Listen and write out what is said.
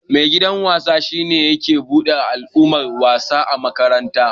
Maigidan wasa shi ne ke duba alamuran wasa ã makaranta.